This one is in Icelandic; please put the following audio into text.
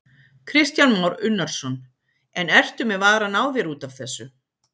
Kristján Már Unnarsson: En ertu með varann á þér út af þessu?